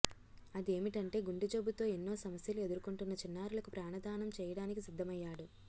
అదేమిటంటే గుండెజబ్బుతో ఎన్నో సమస్యలు ఎదుర్కొంటున్న చిన్నారులకు ప్రాణదానం చేయడానికి సిద్దమయ్యాడు